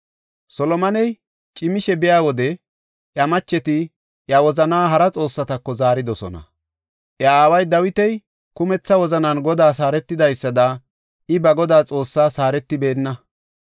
Solomoney cimishe biya wode iya macheti iya wozanaa hara xoossatako zaaridosona. Iya aawa Dawiti kumetha wozanan Godaas haaretidaysada I ba Godaa Xoossaas haaretibeenna.